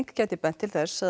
gæti bent til þess að